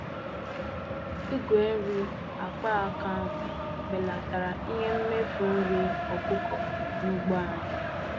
Igwe nri akpaaka ahụ belatara ihe mmefu nri ọkụkọ n'ugbo anyị.